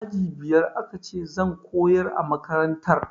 Aji biyar aka ce zan koyar a makantar